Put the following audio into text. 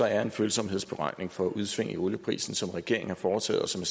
er en følsomhedsberegning for udsving i olieprisen som regeringen har foretaget og som